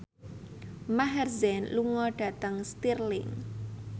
Maher Zein lunga dhateng Stirling